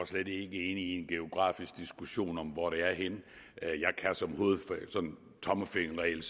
slet ikke ind i en geografisk diskussion om hvor det er henne som tommelfingerregel